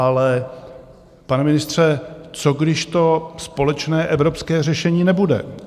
Ale pane ministře, co když to společné evropské řešení nebude?